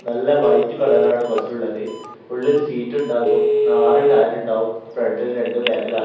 നല്ല വൈറ്റ് കളറാണ് ബസ്സുള്ളത് ഉള്ളിൽ സീറ്റ് ഉണ്ടാകും നആറ് ടയർ ഉണ്ടാകും ഫ്രൻഡിൽ രണ്ടും ബാക്കിൽ ആ--